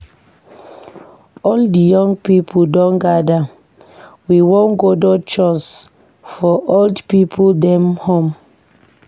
All di young pipo don gada, we wan godo chores for old pipo dem home.